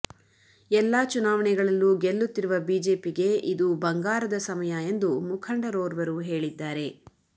ಎಲ್ಲಾ ಚುನಾವಣೆಗಳಲ್ಲು ಗೆಲ್ಲುತ್ತಿರುವ ಬಿಜೆಪಿಗೆ ಇದು ಬಂಗಾರದ ಸಮಯ ಎಂದು ಮುಖಂಡರೋರ್ವರು ಹೇಳಿದ್ದಾರೆ